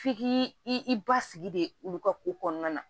F'i ki i basigi de olu ka ko kɔnɔna na